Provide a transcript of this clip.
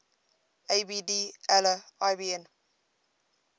abd allah ibn